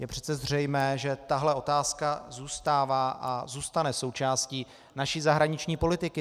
Je přece zřejmé, že tahle otázka zůstává a zůstane součástí naší zahraniční politiky.